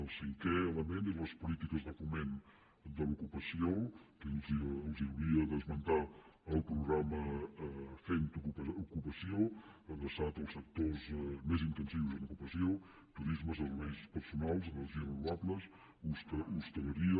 el cinquè element són les polítiques de foment de l’ocupació que els hauria d’esmentar el programa fem ocupació adreçat als sectors més intensius en ocupació turisme serveis personals energies renovables hoteleria